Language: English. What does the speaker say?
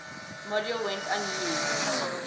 module went unused